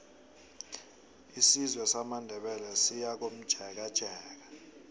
isizwe samandebele siyakomjekejeke